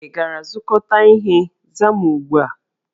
Ị gara zụkọta ihe? Zaa m ugbu a!